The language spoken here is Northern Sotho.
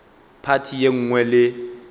phathi ye nngwe le ye